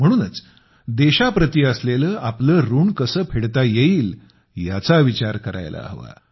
म्हणूनच देशाप्रति असलेले आपले ऋण कसे फेडता येईल याचा विचार करायला हवा